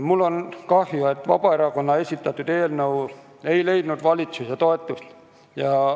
Mul on kahju, et Vabaerakonna esitatud eelnõu ei leidnud valitsuse toetust.